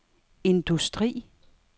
industri